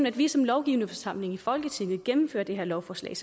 at vi som lovgivende forsamling som folketing gennemfører det her lovforslag